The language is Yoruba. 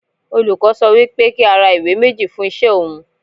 Olùkọ́ sọ wí pé kí á ra ìwé méjì fún iṣẹ́ òun.